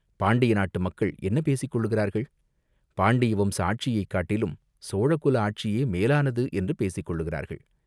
"பாண்டிய நாட்டு மக்கள் என்ன பேசிக் கொள்கிறார்கள்?" "பாண்டிய வம்ச ஆட்சியைக் காட்டிலும் சோழ குல ஆட்சியே மேலானது என்று பேசிக் கொள்கிறார்கள்.